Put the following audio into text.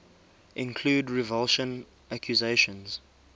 include revulsion accusations